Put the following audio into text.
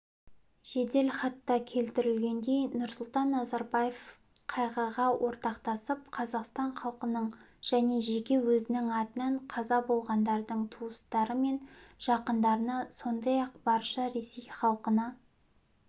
жедел хатта келтірілгендей нұрсұлтан назарбаев қайғыға ортақтасып қазақстан халқының және жеке өзінің атынан қаза болғандардың туыстары мен жақындарына сондай-ақ барша ресей халқына